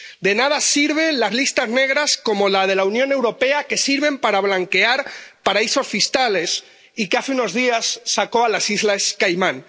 De nada sirven las listas negras, como la de la Unión Europea, que sirven para blanquear paraísos fiscales, y de la que hace unos días salieron las islas Caimán.